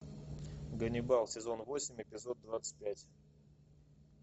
ганнибал сезон восемь эпизод двадцать пять